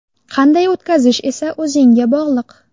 Qanday o‘tkazish esa o‘zingga bog‘liq.